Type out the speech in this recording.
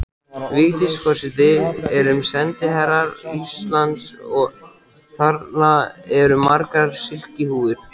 Vigdís forseti erum sendiherrar Íslands og þarna eru margar silkihúfur.